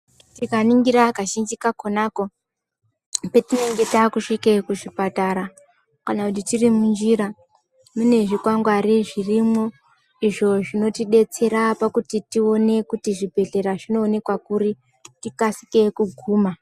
Tikaningira kazhinji kakona ko patinenge tasvikapo kana tiri munjira mune zvikwangwari zvirimo izvo zvinotodetsera pakuti zvibhedhlera zvinoonekwa kuri tikasike kuguma.